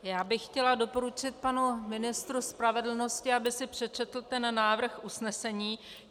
Já bych chtěla doporučit panu ministru spravedlnosti, aby si přečetl ten návrh usnesení.